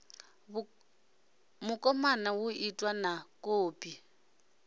mukomani hu itwe na kopi